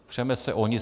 Přeme se o nic.